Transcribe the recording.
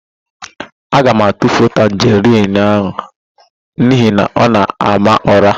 Aga m atufu tanjerịn ahụ n'ihi na ọ na-ama ụ̀rá.